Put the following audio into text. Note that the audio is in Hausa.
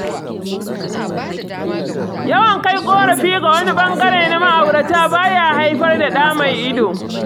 Yawan kai ƙorafi ga wani ɓangare na ma'aurata ba ya haifar da ɗa mai ido.